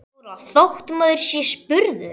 Þóra: Þótt maður sé spurður?